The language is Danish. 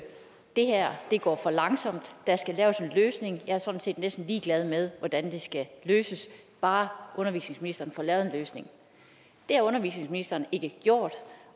det her går for langsomt der skal laves en løsning jeg er sådan set ligeglad med hvordan det skal løses bare undervisningsministeren får lavet en løsning det har undervisningsministeren ikke gjort